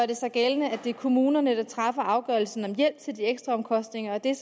det sig gældende at det er kommunerne der træffer afgørelsen om hjælp til ekstraomkostninger og det